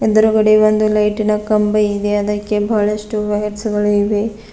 ಎದ್ರುಗಡೆ ಒಂದು ಲೈಟಿ ನ ಕಂಬ ಇದೆ ಅದಕ್ಕೆ ಬಹಳಷ್ಟು ವೈರ್ಸ್ ಗಳು ಇವೆ.